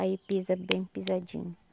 Aí pisa bem pisadinho.